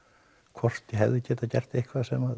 hvort ég hefði getað gert eitthvað sem